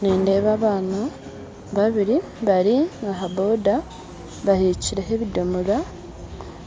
Nindeeba abaana babiri bari aha-boda bahekyireho ebidomora,